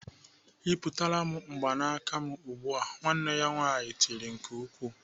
"Yịpụtara m mgbanaka m ugbu a!" Nwanne ya nwaanyị tiri nke ukwuu.